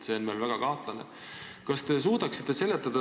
See on veel väga kahtlane.